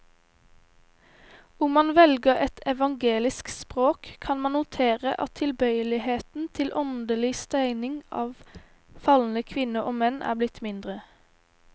Om man velger et evangelisk språk, kan man notere at tilbøyeligheten til åndelig stening av falne kvinner og menn er blitt mindre.